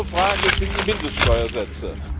Eine andere Frage sind die Mindeststeuersätze.